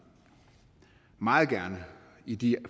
meget gerne i de